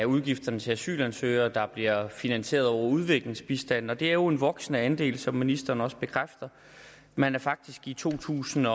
udgifterne til asylansøgere der bliver finansieret over udviklingsbistanden og det er jo en voksende andel som ministeren også bekræfter man var faktisk i to tusind